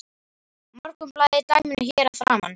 Morgunblaðið í dæminu hér að framan.